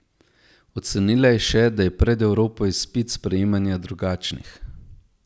Ocenila je še, da je pred Evropo izpit sprejemanja drugačnih.